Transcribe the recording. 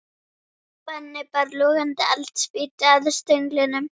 Benni bar logandi eldspýtu að stönglinum.